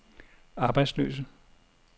arbejdsløse